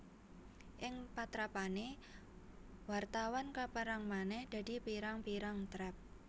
Ing patrapané wartawan kapérang manèh dadi pirang pirang trap